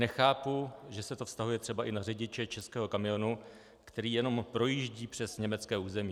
Nechápu, že se to vztahuje třeba i na řidiče českého kamionu, který jenom projíždí přes německé území.